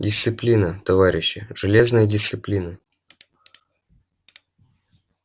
дисциплина товарищи железная дисциплина